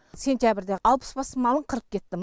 сентябрьде алпыс бас малын қырып кетті